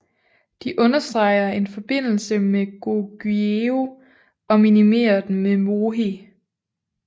De understreger en forbindelse med Goguryeo og minimerer den med mohe